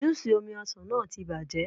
Júù ṣì omi ọsàn náà ti bàjẹ́.